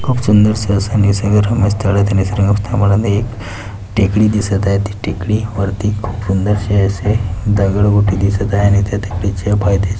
खूप सुंदरस अस निसर्गरम्य स्थळ आहे त्या निसर्गरम्य स्थळामध्ये एक टेकडी दिसत आहे ती टेकडी वरती खूप सुंदरसे असे दगडगोटे दिसत आहे आणि त्या पायथ्याशी --